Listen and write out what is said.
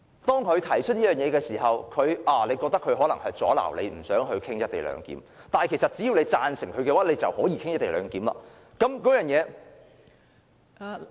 當他提出這項議案的時候，大家覺得他可能是要阻撓議員，不想討論"一地兩檢"，但其實只要我們贊成他的議案，便可以討論"一地兩檢"。